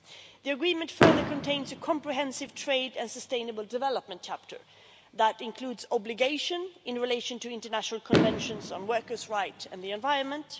The agreement further contains a comprehensive trade and sustainable development chapter that includes obligations in relation to international conventions on workers' rights and the environment